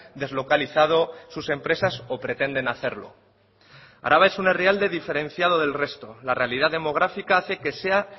deslocalizado sus empresas o pretenden hacerlo araba es un herrialde diferenciado del resto la realidad demográfica hace que sea